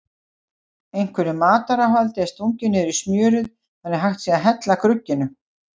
Einhverju mataráhaldi er stungið niður í smjörið þannig að hægt sé að hella grugginu.